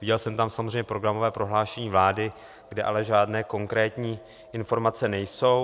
Viděl jsem tam samozřejmě programové prohlášení vlády, kde ale žádné konkrétní informace nejsou.